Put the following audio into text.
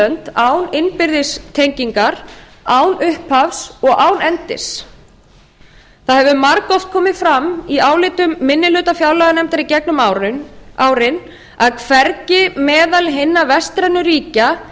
eylönd án innbyrðis tengingar án upphafs og án endis það hefur margoft komið fram í álitum minni hluta fjárlaganefndar í gegnum árin að hvergi meðal hinna vestrænu ríkja